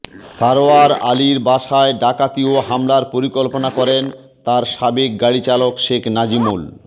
সারওয়ার আলীর বাসায় ডাকাতি ও হামলার পরিকল্পনা করেন তার সাবেক গাড়িচালক শেখ নাজমুল